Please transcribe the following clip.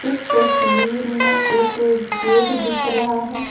इस तस्वीर में एक गेट दिख रहा है।